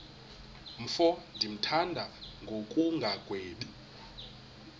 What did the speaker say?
mfo ndimthanda ngokungagwebi